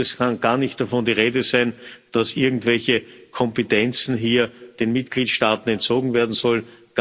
Es kann gar nicht davon die Rede sein, dass irgendwelche Kompetenzen hier den Mitgliedstaaten entzogen werden sollen.